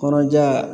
Kɔrɔja